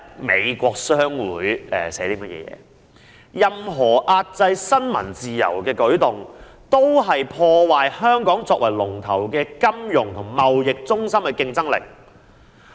美國商會發表聲明，指任何壓制新聞自由的舉動，均破壞香港作為領先金融和貿易中心的競爭力。